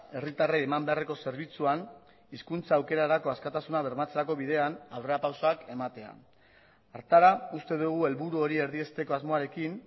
herritarrei eman beharreko zerbitzuan hizkuntza aukerarako askatasuna bermatzerako bidean aurrerapausoak ematea hartara uste dugu helburu hori erdiesteko asmoarekin